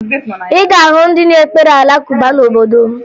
Ị ga-ahụ ndị na-ekpere Alakụba n'obodo m